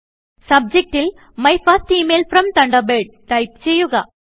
subject ൽ my first email from Thunderbird type ചെയ്യുക